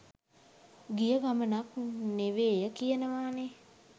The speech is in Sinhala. ගිය ගමනක් නෙවේය කියනවානේ.